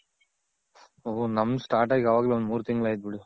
ಓ ನಮ್ದ್ Start ಆಗಿ ಅವಾಗ್ಲೇ ಒಂದ್ ಮೂರ್ ತಿಂಗಳ್ ಆಯ್ತ್ ಬಿಡು.